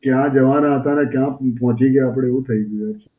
ક્યાં જવાના હતા અને ક્યાં પહોંચી ગયા આપડે, એવું થઈ ગયું છે.